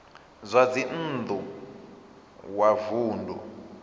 zwa dzinn ḓu wa vunḓu